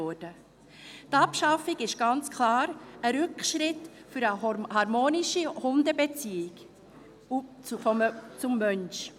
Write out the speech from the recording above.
Die Abschaffung ist ganz klar ein Rückschritt für eine harmonische Beziehung zwischen Hunden und Menschen.